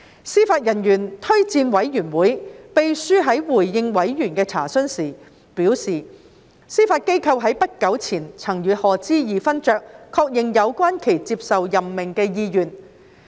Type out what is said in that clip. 司法人員推薦委員會秘書在回應委員的查詢時表示，司法機構在不久前曾與賀知義勳爵確認有關其接受任命的意願。